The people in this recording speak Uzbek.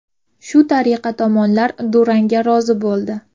Shu tariqa tomonlar durangga rozi bo‘ldi.